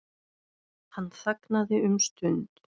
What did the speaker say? Hann þagnaði um stund.